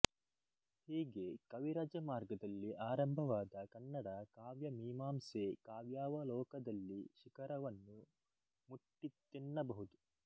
ಹೀಗೆ ಕವಿರಾಜಮಾರ್ಗದಲ್ಲಿ ಆರಂಭವಾದ ಕನ್ನಡ ಕಾವ್ಯಮೀಮಾಂಸೆ ಕಾವ್ಯಾವಲೋಕದಲ್ಲಿ ಶಿಖರವನ್ನು ಮುಟ್ಟಿತೆನ್ನಬಹುದು